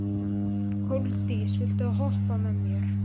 Koldís, viltu hoppa með mér?